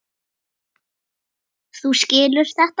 Þú skilur þetta?